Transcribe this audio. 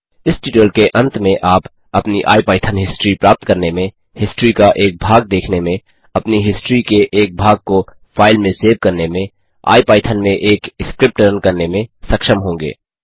इस ट्यूटोरियल के अंत में आप अपनी आईपाइथन हिस्ट्री प्राप्त करने में हिस्ट्री का एक भाग देखने में अपनी हिस्ट्री के एक भाग को फाइल में सेव करने में आईपाइथन में एक स्क्रिप्ट रन करने में सक्षम होंगे